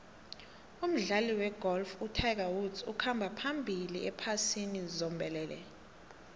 umdlali wegolf utiger woods ukhamba phambili ephasini zombelele